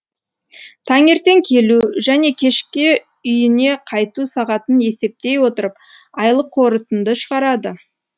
таңертең келу және кешке үйне қайту сағатын есептей отырып айлық қорытынды шығарады